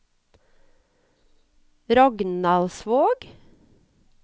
Rognaldsvåg